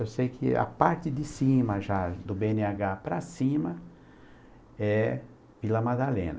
Eu sei que a parte de cima, já do bê ene agá para cima, é Vila Madalena.